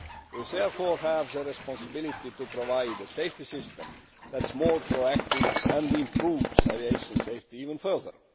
We therefore have a responsibility to provide a safety system that is more proactive and improves aviation safety even further.